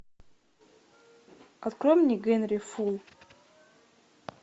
открой мне генри фул